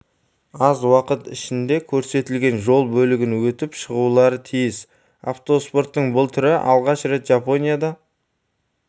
аз уақыт ішінде көрсетілген жол бөлігін өтіп шығулары тиіс автоспорттың бұл түрі алғаш рет жапонияда